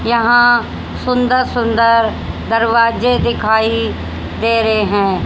यहां सुंदर सुंदर दरवाजे दिखाई दे रहे हैं।